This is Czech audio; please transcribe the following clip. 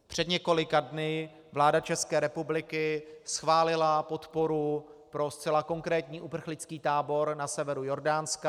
Před několika dny vláda České republiky schválila podporu pro zcela konkrétní uprchlický tábor na severu Jordánska.